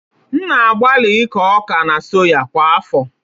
M na-agbalị ịkọ ọka na soya kwa afọ